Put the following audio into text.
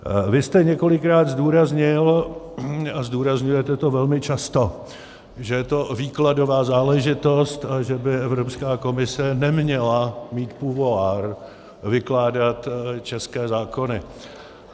Vy jste několikrát zdůraznil, a zdůrazňujete to velmi často, že je to výkladová záležitost a že by Evropská komise neměla mít pouvoir vykládat české zákony.